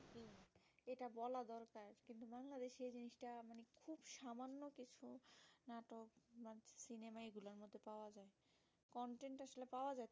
content টা আসলে প্রায় গেছে